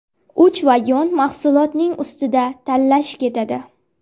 Uch vagon mahsulotning ustida talash ketadi.